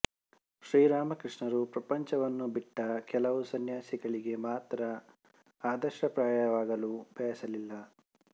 ಶ್ರೀರಾಮಕೃಷ್ಣರು ಪ್ರಪಂಚವನ್ನು ಬಿಟ್ಟ ಕೆಲವು ಸನ್ಯಾಸಿಗಳಿಗೆ ಮಾತ್ರ ಆದರ್ಶಪ್ರಾಯವಾಗಲು ಬಯಸಲಿಲ್ಲ